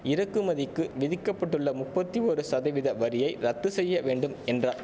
இறக்குமதிக்கு விதிக்க பட்டுள்ள முப்பத்தி ஒரு சதவித வரியை ரத்து செய்ய வேண்டும் என்றார்